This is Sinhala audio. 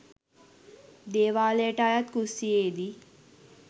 දේවාලයට අයත් කුස්සියේ දී